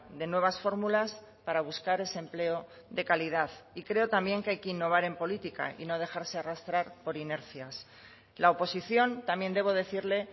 de nuevas fórmulas para buscar ese empleo de calidad y creo también que hay que innovar en política y no dejarse arrastrar por inercias la oposición también debo decirle